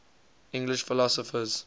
english philosophers